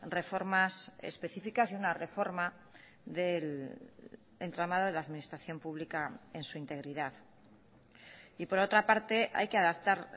reformas específicas y una reforma del entramado de la administración pública en su integridad y por otra parte hay que adaptar